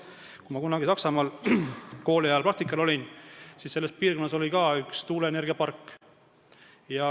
Kui ma kunagi kooliajal Saksamaal praktikal olin, siis selles piirkonnas oli ka üks tuuleenergiapark.